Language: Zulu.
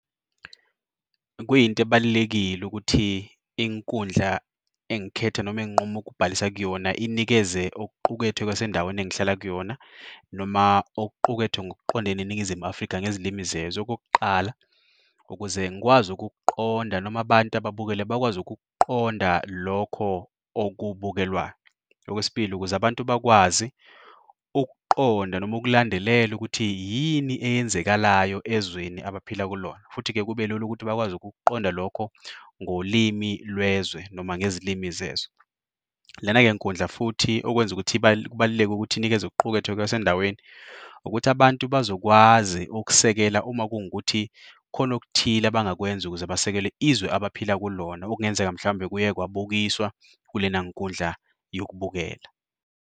Kuyinto ebalulekile ukuthi inkundla engikhetha noma enginquma ukubhalisa kuyona inikeze okuqukethwe kwasendaweni engihlala kuyona noma okuqukethwe ngokuqondene neNingizimu Afrika ngezilimi zezwe. Okokuqala, ukuze ngikwazi ukukuqonda noma abantu ababukele bakwazi ukukuqonda lokho okubukelwayo. Okwesibili, ukuze abantu bakwazi ukuqonda noma ukulandelela ukuthi yini eyenzekalayo ezweni abaphila kulona, futhi-ke kube lula ukuthi bakwazi ukukuqonda lokho ngolimi lwezwe noma ngezilimi zezwe. Lena ngenkundla futhi okwenza ukuthi kubaluleke ukuthi inikeze okuqukethwe kwasendaweni ukuthi abantu bazokwazi ukusekela uma kungukuthi khona okuthile abangakwenza ukuze basekele izwe abaphila kulona, okungenzeka mhlambe kuye kwabukiswa kulena nkundla yokubukela.